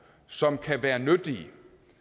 som kan være nyttige